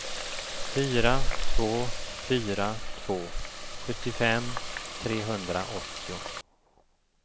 fyra två fyra två sjuttiofem trehundraåttio